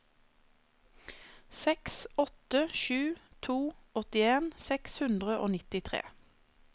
seks åtte sju to åttien seks hundre og nittitre